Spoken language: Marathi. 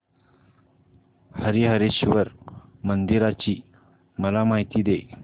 हरीहरेश्वर मंदिराची मला माहिती दे